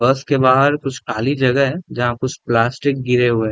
बस के बाहर कुछ खाली जगह है जहाँ कुछ प्लास्टिक गिरे हुए है।